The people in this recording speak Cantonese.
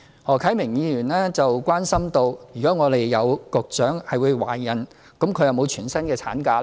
何啟明議員關心，如果有局長懷孕，她是否享有全薪產假。